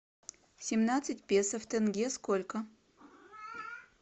семнадцать песо в тенге сколько